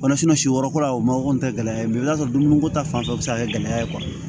si yɔrɔ kɔrɔ la o mago tɛ gɛlɛya i b'a sɔrɔ dumuniko ta fan fɛ ka kɛ gɛlɛya ye